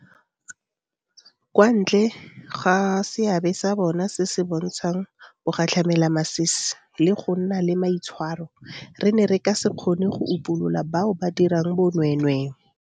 Kwa ntle ga seabe sa bona se se bontshang bogatlhamelamasisi le go nna le maitshwaro, re ne re ka se kgone go upolola bao ba dirang bonweenwee.